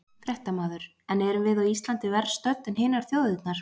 Fréttamaður: En erum við á Íslandi verr stödd en hinar þjóðirnar?